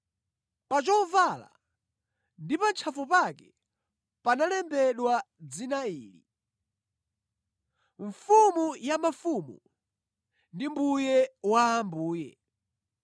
Pa chovala ndi pa ntchafu pake panalembedwa dzina ili: MFUMU YA MAFUMU NDI MBUYE WA AMBUYE.